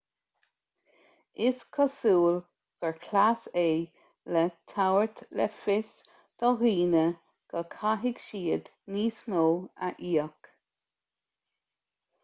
is cosúil gur chleas é le tabhairt le fios do dhaoine go gcaithfidh siad níos mó a íoc